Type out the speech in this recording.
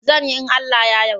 Zan in Allah ya yadda.